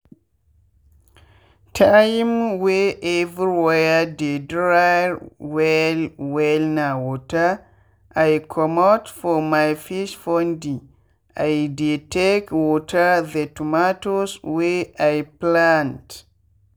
time wey everywhere dey dry well wellna water i commot for my fish pondi dey take water the tomatoes wey i plant.